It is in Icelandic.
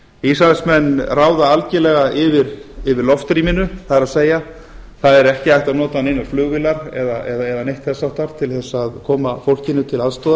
ísraelsmenn ráða algjörlega yfir loftrýminu það er það er ekki hægt að nota neinar flugvélar eða neitt þess háttar til að koma fólkinu til aðstoðar